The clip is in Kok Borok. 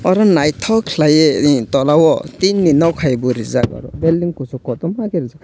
aro nythok khlaie tola o tin ni non hai bo reejak building kusu kotorma ke reejak.